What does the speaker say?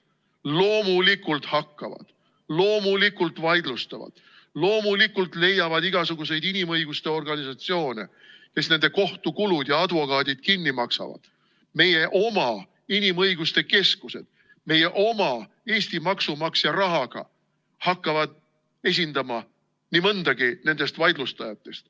Loomulikult hakkavad, loomulikult vaidlustavad, loomulikult leiavad igasuguseid inimõiguste organisatsioone, kes nende kohtukulud ja advokaadid kinni maksavad, meie oma inimõiguste keskused, meie oma Eesti maksumaksja rahaga hakkavad esindama nii mõndagi nendest vaidlustajatest.